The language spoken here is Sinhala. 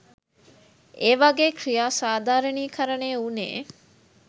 ඒවගේ ක්‍රියා සාධාරණීකරණය උනේ